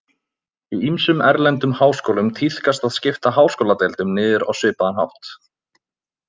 Í ýmsum erlendum háskólum tíðkast að skipta háskóladeildum niður á svipaðan hátt.